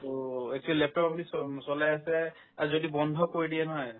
to actually laptop use ক' um চলে আছে আৰু যদি বন্ধ কৰি দিয়ে নহয়